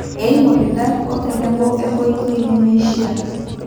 eimu irridat otenebo enkoitoi nemeishiaa